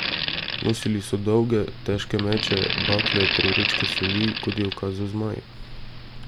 Nosili so dolge, težke meče, bakle ter vrečke soli, kot je ukazal Zmaj.